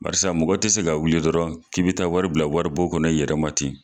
Barisa mɔgɔ te se ka wuli dɔrɔn k'i be taa wari bila wari bon kɔnɔ i yɛrɛma ten